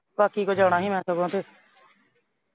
ਕਾਕੀ ਕੋਲ ਜਾਣਾ ਸੀ ਮੈਂ ਸਗੋਂ ਤੋਂ